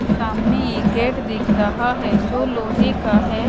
सामने एक गेट दिख रहा है जो लोहे का है।